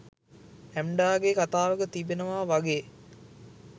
ඇම්ඩාගේ කතාවක තියෙනවා වගේ